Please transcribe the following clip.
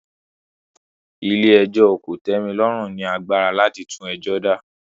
Ilé ẹjọ́ kò tẹ́ mi lọ́rùn ni agbára láti tún ẹjọ́ dá